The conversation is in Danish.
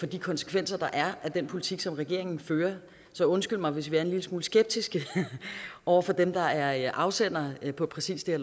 de konsekvenser der er af den politik som regeringen fører så undskyld mig hvis vi er en lille smule skeptiske over for dem der er afsender af præcis det